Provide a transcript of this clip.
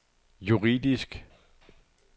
juridisk